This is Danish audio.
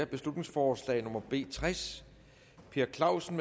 beslutningsforslag nummer b tres per clausen